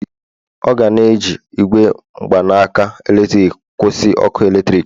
ọ ga na-eji igwe mgbanaka eletrik kwụsị ọkụ eletrik